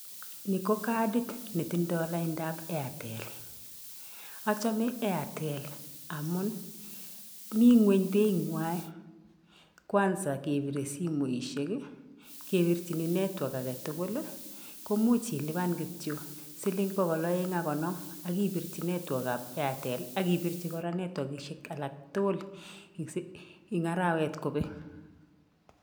Ni ko kadit ne tindoi laindap Airtel. Achome Airtel amun mi ng'weny beitnywai, kwanza kebire simoisiek, kebirchin network age tugul, komuch ilipan kityo siling pokol aeng' ak konom ak ibirchi network ab Airtel ak ibirchi kora netwakishek alak tugul eng arawet kobek.